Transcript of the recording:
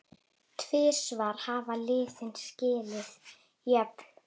Tvisvar hafa liðin skilið jöfn.